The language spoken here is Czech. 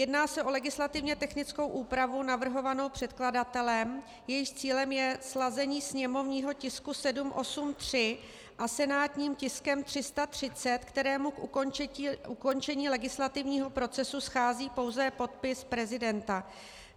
Jedná se o legislativně technickou úpravu navrhovanou předkladatelem, jejímž cílem je sladění sněmovního tisku 783 se senátním tiskem 330, kterému k ukončení legislativního procesu schází pouze podpis prezidenta.